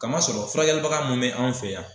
Kamasɔrɔ furakɛlibaga mun bɛ an fɛ yan